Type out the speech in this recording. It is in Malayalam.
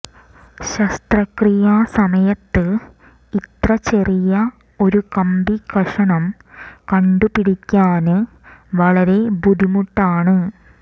ശസ്ത്രക്രിയാ സമയത്ത് ഇത്ര ചെറിയ ഒരു കമ്പിക്കഷണം കണ്ടു പിടിക്കാന് വളരെ ബുദ്ധിമുട്ടാണ്